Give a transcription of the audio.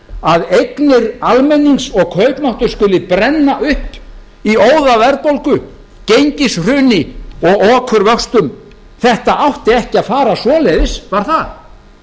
að eignir almennings og kaupmáttur skuli brenna upp í óðaverðbólgu gengishruni og okurvöxtum þetta átti ekki að fara svoleiðis var það